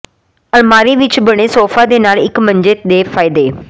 ਅਲਮਾਰੀ ਵਿੱਚ ਬਣੇ ਸੌਫਾ ਦੇ ਨਾਲ ਇੱਕ ਮੰਜੇ ਦੇ ਫਾਇਦੇ